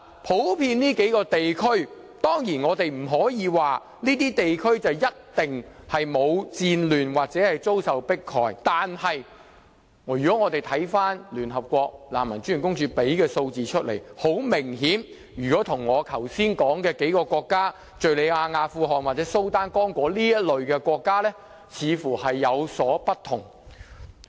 普遍就這數個地區來說，當然，我們不可說這些地區一定沒有戰亂或遭受迫害。但是，如果我們看看聯合國難民專員公署提供的數字，很明顯，跟我剛才說的數個國家，即敘利亞、阿富汗、蘇丹或剛果等這類國家，情況似乎有所不同。